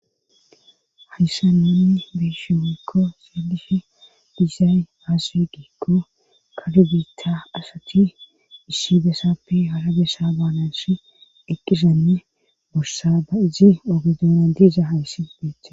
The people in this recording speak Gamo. hayssa nanni beeshi wekko seelifi dizay aasue giikko kadbiitta asati issi besappe halabesa baanashi eqqisanne bussa ba izi ogedoona diiza hayssi beetha